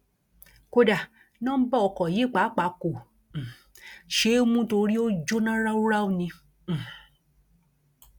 kódà nọńbà ọkọ yìí pàápàá kò um ṣeé mú nítorí ó jóná ráúráú ni um